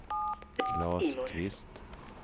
Klas Kvist